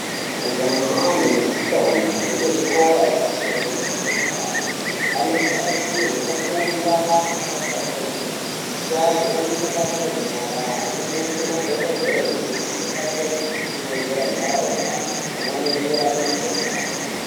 Majaha nendombi dzekuzvikora zvepamusoro nederadera ,anotarisirwa kufunda akatsamwirira kuti agone mabasa enyara anonyaite madhokodheya zvinobatsira kusimudzira nharaunda pamweni nekurape mukuhlani.